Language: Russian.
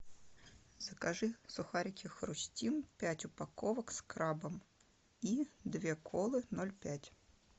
закажи сухарики хрустим пять упаковок с крабом и две колы ноль пять